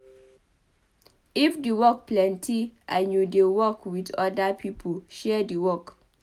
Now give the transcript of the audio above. if di work plenty and you dey work with oda pipo share di work